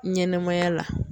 Ɲɛnɛmaya la.